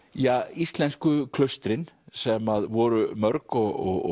íslensku klaustrin sem voru mörg og